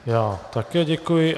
Já také děkuji.